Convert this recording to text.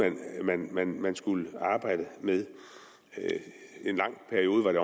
man man skulle arbejde med i en lang periode var det